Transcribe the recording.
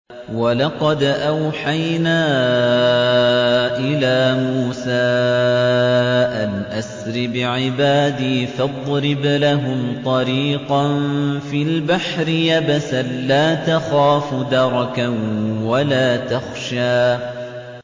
وَلَقَدْ أَوْحَيْنَا إِلَىٰ مُوسَىٰ أَنْ أَسْرِ بِعِبَادِي فَاضْرِبْ لَهُمْ طَرِيقًا فِي الْبَحْرِ يَبَسًا لَّا تَخَافُ دَرَكًا وَلَا تَخْشَىٰ